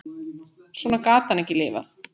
Svona gat hann ekki lifað.